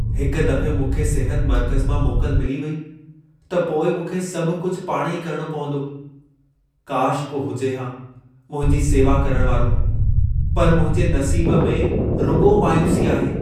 हिक दफ़े मूंखे सिहत मर्कज़ मां मोकल मिली वई, त पोइ मूंखे सभ कुझु पाण ई करणो पवंदो। काश को हुजे हा मुंहिंजी सेवा करण वारो, पर मुंहिंजे नसीब में रुॻो मायूसी आहे।